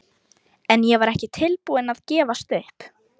En ég var ekki tilbúin að gefast upp.